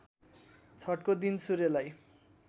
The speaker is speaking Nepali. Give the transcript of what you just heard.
छठको दिन सूर्यलाई